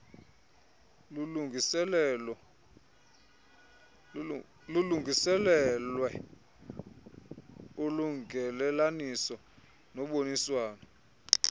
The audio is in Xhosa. lulungiselelwe ulungelelaniso noboniswano